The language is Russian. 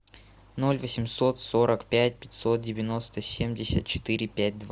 ноль восемьсот сорок пять пятьсот девяносто семьдесят четыре пять два